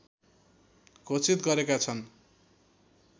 घोषित गरेका छन्